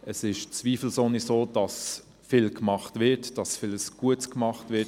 Es ist zweifelsohne so, dass viel gemacht wird, dass viel Gutes getan wird.